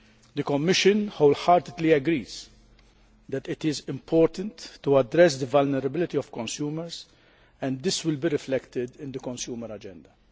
The Commission wholeheartedly agrees that it is important to address the vulnerability of consumers, and this will be reflected in the Consumer Agenda.